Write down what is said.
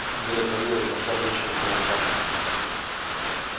дверь отворилась вошла женщина в белом платье